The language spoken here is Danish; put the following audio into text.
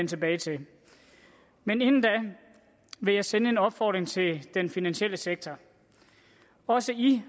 tilbage til men inden da vil jeg sende en opfordring til den finansielle sektor også i